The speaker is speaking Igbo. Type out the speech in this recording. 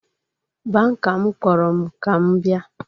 Banka m kpọrọ m ka m bịa